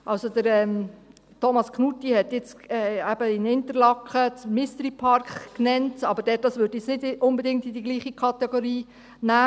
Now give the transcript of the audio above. Also, Thomas Knutti hat jetzt eben den Mystery Park von Interlaken genannt, das würde ich aber jetzt nicht unbedingt in dieselbe Kategorie nehmen.